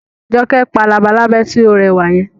Jọkẹ́ pa labalábá tí ó rẹwà yẹn